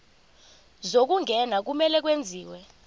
zokungena kumele kwenziwe